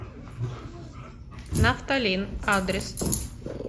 нафталин адрес